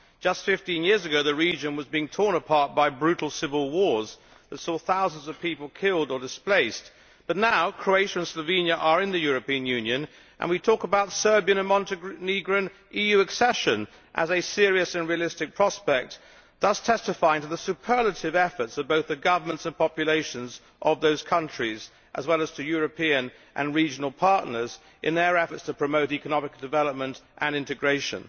Just 15 years ago the region was being torn apart by brutal civil wars which saw thousands of people killed or displaced, but now Croatia and Slovenia are in the European Union and we are talking about the accession of Serbia and Montenegro to the EU as a serious and realistic prospect, thus testifying to the superlative efforts of both the governments and populations of those countries, as well as to European and regional partners, in their efforts to promote economic development and integration.